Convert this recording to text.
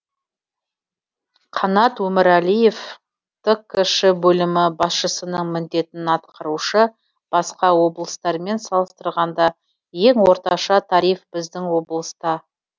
қанат өмірәлиев ткш бөлімі басшысының міндетін атқарушы басқа облыстармен салыстырғанда ең орташа тариф біздің облыста